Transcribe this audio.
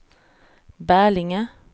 Bälinge